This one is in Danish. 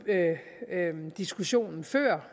diskussionen før